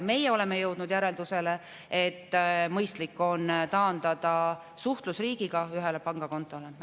Meie oleme jõudnud järeldusele, et mõistlik on taandada suhtlus riigiga ühele pangakontole.